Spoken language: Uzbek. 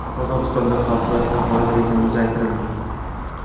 Qozog‘istonda favqulodda holat rejimi uzaytirildi.